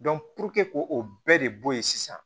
k'o bɛɛ de bɔ ye sisan